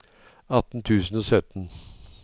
atten tusen og sytten